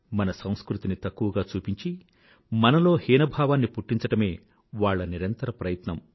మన సంస్కృతిని తక్కువగా చూపించి మనలో హీనభావాన్ని పుట్టించడమే వాళ్ల నిరంతర ప్రయత్నం